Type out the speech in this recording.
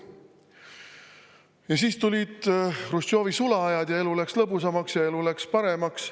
Ja siis tulid Hruštšovi sula ajad ja elu läks lõbusamaks, elu läks paremaks.